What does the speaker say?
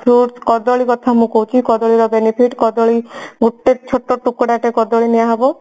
fruits କଦଳୀ କଥା ମୁଁ କହୁଛି କଦଳୀର benefit କଦଳୀ ଗୋଟେ ଛୋଟ ଟୁକୁଡା ଟେ କଦଳୀ ନିଆହେବ